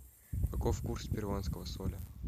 каков курс перуанского соля